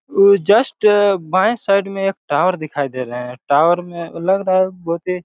ये जस्ट बाये साइड में एक टावर दिखाई दे रहा हैं टावर में लग रहा हैं बहुत ही--